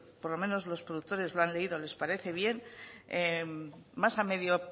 por lo menos los productores lo han leído les parece bien más a medio